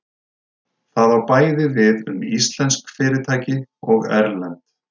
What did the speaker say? það á bæði við um íslensk fyrirtæki og erlend